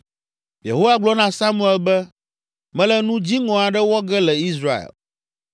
Yehowa gblɔ na Samuel be, “Mele nu dziŋɔ aɖe wɔ ge le Israel.